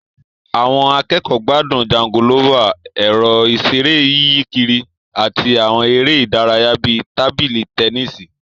Àwọn akẹ́kọ̀ọ́ gbádùn jangolófà, ẹ̀rọ ìṣeré yíyí kiri, àti àwọn eré ìdárayá bíi tábìlì tẹnísì